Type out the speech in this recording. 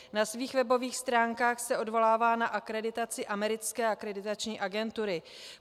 Na svých webových stránkách se odvolává na akreditaci americké akreditační agentury.